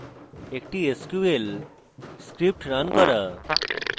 একটি sql script running করা